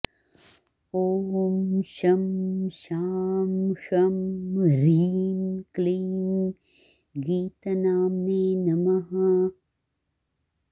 ॐ शं शां षं ह्रीं क्लीं गीतनाम्ने नमः